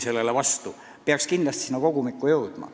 Need arvamused peaks samuti sinna kogumikku jõudma.